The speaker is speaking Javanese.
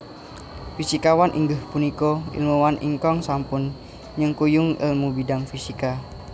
Fisikawan inggih punika ilmuwan ingkang sampun nyengkuyung èlmu bidang fisika